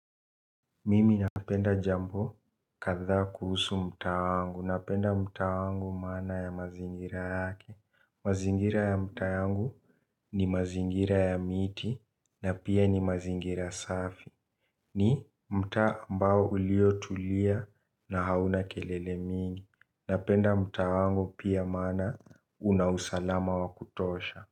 Mimi napenda jambo kadhaa kuhusu mtaa wangu napenda mtaa wangu maana ya mazingira yake. Mazingira ya mtaa yangu ni mazingira ya miti na pia ni mazingira safi. Ni mtaa ambao uliotulia na hauna kelele mingi napenda mtaa wangu pia maana unausalama wakutosha.